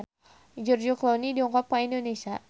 George Clooney dongkap ka Indonesia